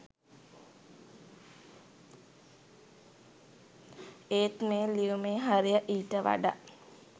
ඒත් මේ ලියුමේ හරය ඊට වඩා